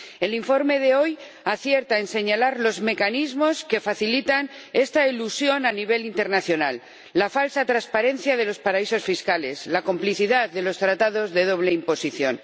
El informe de hoy acierta en señalar los mecanismos que facilitan esta elusión a nivel internacional la falsa transparencia de los paraísos fiscales, la complicidad de los tratados de doble imposición.